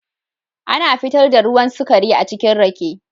Ana fitar da ruwan sukari achikin Rake.